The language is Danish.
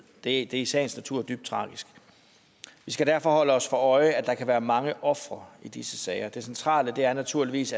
det er i sagens natur dybt tragisk vi skal derfor holde os for øje at der kan være mange ofre i disse sager det centrale er naturligvis